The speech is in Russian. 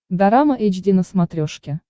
дорама эйч ди на смотрешке